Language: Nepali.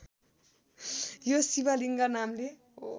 यो शिवलिङ्ग नामले